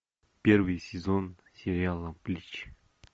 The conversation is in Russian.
первый сезон сериала блич